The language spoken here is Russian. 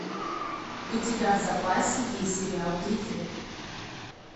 у тебя в запасе есть сериал гриффины